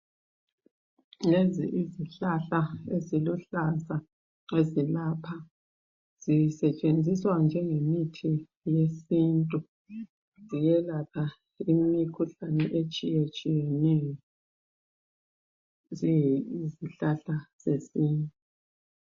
Lezi izihlahla eziluhlaza ezilapha zisetshenziswa njengemithi yesintu. Ziyelapha imikhuhlane etshiyetshiyeneyo ziyizihlahla zesintu.